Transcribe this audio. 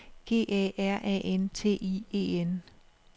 G A R A N T I E N